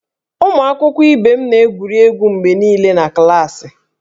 Ụmụ akwụkwọ ibe m na-egwuri egwu mgbe niile na klaasị